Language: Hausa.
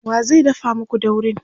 wa zai dafa maku daurin?